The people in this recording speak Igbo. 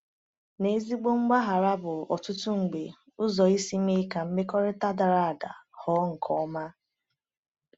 N’ezigbo mgbaghara bụ ọtụtụ mgbe ụzọ isi mee ka mmekọrịta dara ada ghọọ nke ọma.